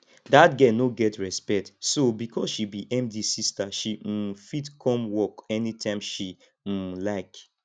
dat girl no get respect so because she be md sister she um fit come work anytime she um like